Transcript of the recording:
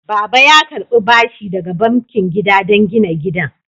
Baba ya karɓi bashi daga bankin gida don gina gidan.